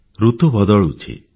ଋତୁ ବଦଳୁଛି